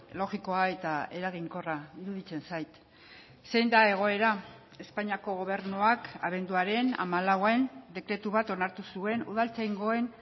logikoa eta eraginkorra iruditzen zait zein da egoera espainiako gobernuak abenduaren hamalauan dekretu bat onartu zuen udaltzaingoen